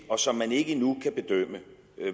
og som man ikke endnu kan bedømme